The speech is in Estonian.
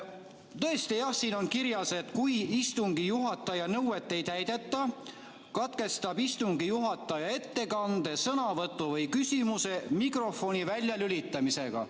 Tõesti, siin on kirjas, et kui istungi juhataja nõuet ei täideta, katkestab istungi juhataja ettekande, sõnavõtu või küsimuse mikrofoni väljalülitamisega.